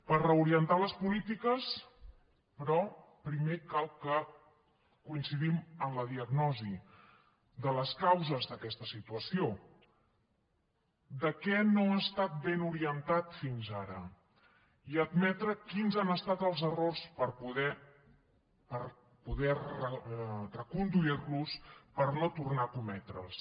per reorientar les polítiques però primer cal que coincidim en la diagnosi de les causes d’aquesta situació de què no ha estat ben orientat fins ara i admetre quins han estat els errors per poder reconduir los per no tornar a cometre’ls